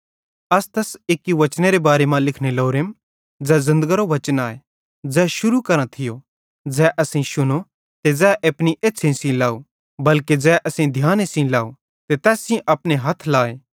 अस तैस एक्की वचनेरे मैनेरे बारे मां लिखने लोरेम ज़ै ज़िन्दगरो वचन आए ज़ै शुरू करां थियो ज़ै असेईं शुनो ते ज़ै अपनी एछ़्छ़ेईं सेइं लाव बल्के ज़ै असेईं ध्याने सेइं लाव ते तैस सेइं अपने हथ लाए